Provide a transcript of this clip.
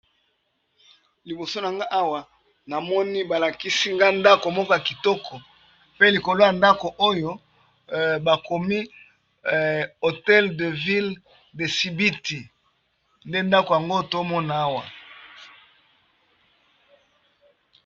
Libooso nanga awa namoni balakisi nga ndako moka kitoko pe likolo ya ndako oyo bakomi hotel de ville de sibiti nde ndako yango tomona awa.